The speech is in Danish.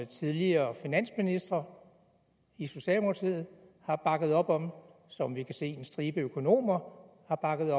tidligere finansministre i socialdemokratiet har bakket op om som vi kan se at en stribe økonomer har bakket